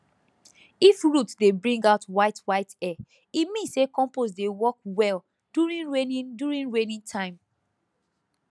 if root dey bring out whitewhite hair e mean say compost dey work well during rainy during rainy time